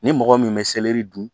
Ni mɔgɔ min bɛ dun